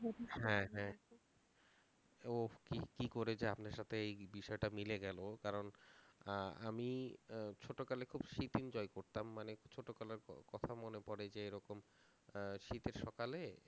হ্যাঁ হ্যাঁ উফ কি কি করে যে আপনার সাথে এই বিষয়টা মিলে গেল কারণ আ~ আমি আহ ছোটকালে খুব শীত enjoy করতাম মানে ছোটকালের ক~ কথা মনে পড়ে যে এরকম আহ শীতের সকালে